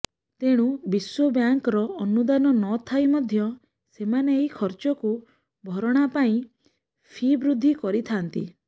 ତେଣୁ ବିଶ୍ୱବ୍ୟାଙ୍କର ଅନୁଦାନ ନ ଥାଇ ମଧ୍ୟ ସେମାନେ ଏହି ଖର୍ଚ୍ଚକୁ ଭରଣା ପାଇଁ ଫି ବୃଦ୍ଧି କରିଥାନ୍ତି